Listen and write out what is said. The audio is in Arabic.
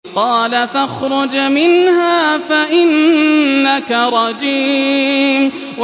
قَالَ فَاخْرُجْ مِنْهَا فَإِنَّكَ رَجِيمٌ